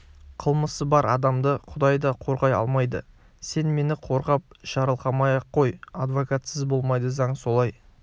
қылмысы бар адамды құдай да қорғай алмайды сен мені қорғап жарылқамай-ақ қой адвокатсыз болмайды заң солай